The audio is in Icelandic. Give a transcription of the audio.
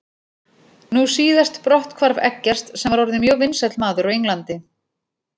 Nú síðast brotthvarf Eggerts sem var orðinn mjög vinsæll maður á Englandi.